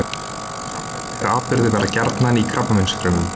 Sambærilegir atburðir verða gjarnan í krabbameinsfrumum.